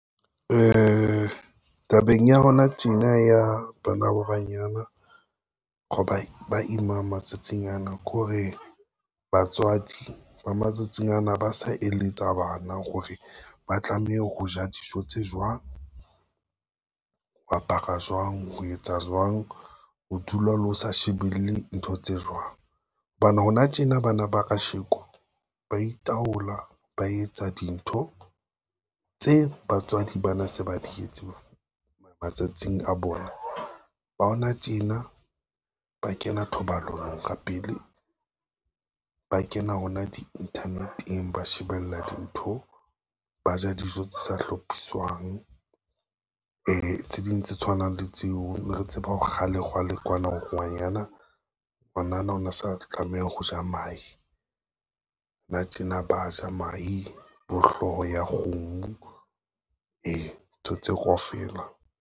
Tabeng ya hona tjena ya bana ba banyana, go ba ba imang matsatsing ana ke hore batswadi ba matsatsing ana ba sa eletsa bana hore ba tlameha ho ja dijo tse jwang, ho apara jwang, ho etsa jwang, ho dula le ho sa shebelle dintho tse jwang. Hobane hona tjena bana ba kasheko ba itaola, ba etsa dintho tse batswadi ba na se ba di etse matsatsing a bona, ba hona tjena ba kena thobalanong ka pele, ba kena hona dinthaneteng ba shebella dintho, ba ja dijo tse sa hlophiswang tse ding tse tshwanang le tseo, ne re tseba hore kgale kgale kwana ho re ngwanana o na sa tlameha ho ja mahe, na tjena ba ja mahe, bo hlooho ya kgomo ntho tseo kaofela.